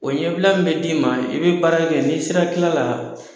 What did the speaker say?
O ɲɛbila min be d'i ma i be baara kɛ ni sera kila la